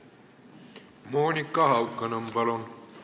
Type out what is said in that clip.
Monika Haukanõmm, palun!